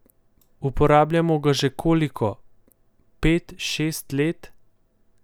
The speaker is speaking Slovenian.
Uporabljamo ga že koliko, pet, šest let?